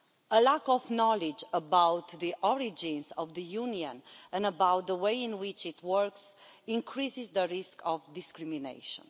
A lack of knowledge about the origins of the Union and about the way in which it works increases the risk of discrimination.